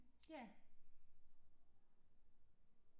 Ja